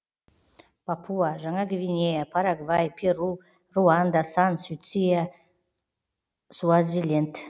папуа жаңа гвинея парагвай перу руанда сан люция суазиленд